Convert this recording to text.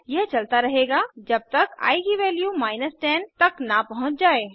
यह चलता रहेगा जब तक आई की वैल्यू 10 तक न पहुँच जाये